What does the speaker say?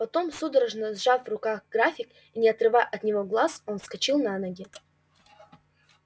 потом судорожно сжав в руках график и не отрывая от него глаз он вскочил на ноги